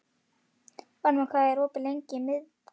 Varmar, hvað er lengi opið í Miðeind?